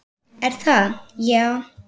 Er það, já?